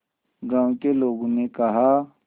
गांव के लोगों ने कहा